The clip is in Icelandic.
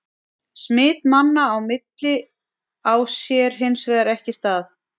Smit manna á milli á sér hins vegar ekki stað.